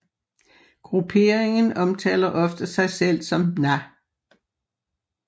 Grupperingen omtaler ofte sig selv som Na